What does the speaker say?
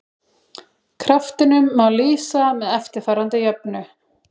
Kraftinum má lýsa með eftirfarandi jöfnu: